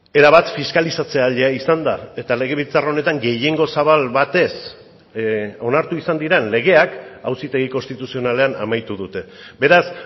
erabat fiskalizatzailea izan da eta legebiltzar honetan gehiengo zabal batez onartu izan diren legeak auzitegi konstituzionalean amaitu dute beraz